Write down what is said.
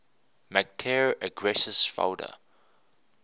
mactare aggressus foeda